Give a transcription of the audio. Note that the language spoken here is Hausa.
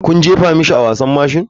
Kuna jefa mashi a wasan mashin?